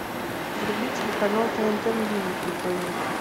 вруби телеканал тнт мьюзик на тв